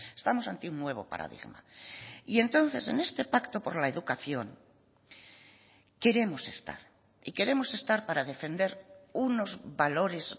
estamos ante un nuevo paradigma y entonces en este pacto por la educación queremos estar y queremos estar para defender unos valores